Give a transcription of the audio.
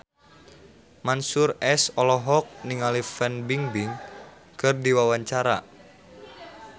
Mansyur S olohok ningali Fan Bingbing keur diwawancara